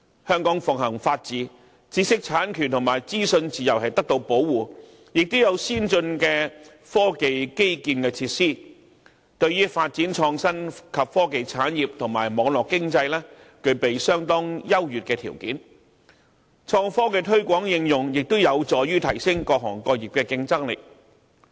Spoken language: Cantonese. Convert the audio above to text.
香港奉行法治，知識產權和資訊自由得到保護，亦有先進的科技基建設施，對於發展創新及科技產業和網絡經濟，具備相當優越的條件。創科的推廣應用，亦有助提升各行各業的競爭力。